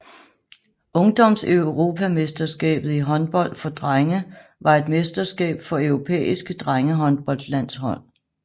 Ungdomseuropamesterskabet i håndbold for drenge var et mesterskab for europæiske drengehåndboldlandshold